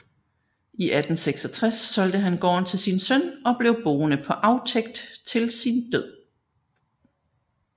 I 1866 solgte han gården til sin søn og blev boende på aftægt til sin død